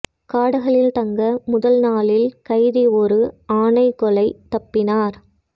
காடுகளில் தங்க முதல் நாளில் கைதி ஒரு ஆணை கொலை தப்பினார்